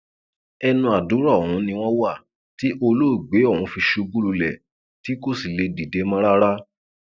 ẹnu àdúrà ọhún ni wọn wà tí olóògbé ọhún fi ṣubú lulẹ tí kò sì lè dìde mọ rárá